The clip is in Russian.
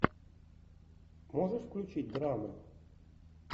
можешь включить драму